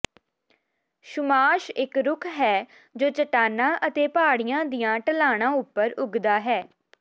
ਸੁਮਾਸ਼ ਇਕ ਰੁੱਖ ਹੈ ਜੋ ਚਟਾਨਾਂ ਅਤੇ ਪਹਾੜੀਆਂ ਦੀਆਂ ਢਲਾਣਾਂ ਉੱਪਰ ਉੱਗਦਾ ਹੈ